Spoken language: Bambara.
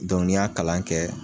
Dɔnku ni ya kalan kɛ